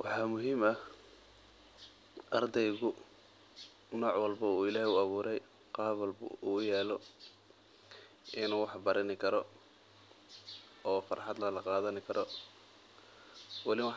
Waxaa muhiim ah ardeygu nooc walbo uu ilaheey u abuure inuu wax barani karo oo farxad lala qadan karo mida kale wax